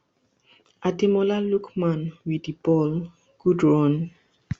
ademola lookman wit di ball good run